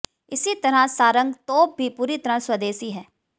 इसी तरह सारंग तोप भी पूरी तरह स्वदेशी है